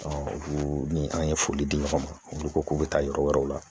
olu ni an ye foli di ɲɔgɔn ma olu ko k'u bɛ taa yɔrɔ wɛrɛw la